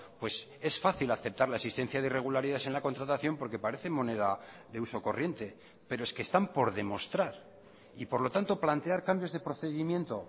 pues es fácil aceptar la existencia de irregularidades en la contratación porque parece moneda de uso corriente pero es que están por demostrar y por lo tanto plantear cambios de procedimiento